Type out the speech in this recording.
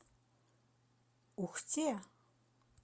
ухте